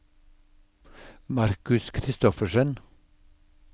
Marcus Kristoffersen